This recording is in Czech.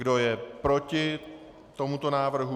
Kdo je proti tomuto návrhu?